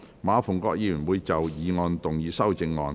馬逢國議員會就議案動議修正案。